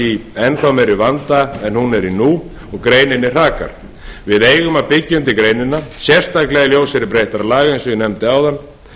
í enn meiri vanda en hún er í nú og greininni hrakar við eigum að byggja undir greinina sérstaklega í ljósi breyttra laga eins og ég nefndi áðan